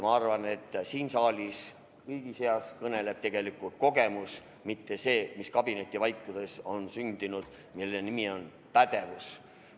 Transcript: Ma arvan, et siin saalis loeb tegelikult kogemus, mitte see, mis kabinetivaikuses on sündinud ja mille nimi on pädevus.